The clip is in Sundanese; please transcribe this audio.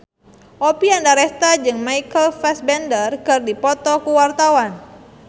Oppie Andaresta jeung Michael Fassbender keur dipoto ku wartawan